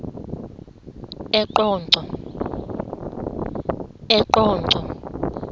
eqonco